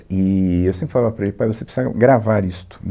Eee eu sempre falava para ele, pai, você precisa gravar isto.